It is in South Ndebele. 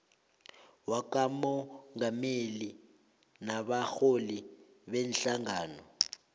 wakamongameli nabarholi beenhlangano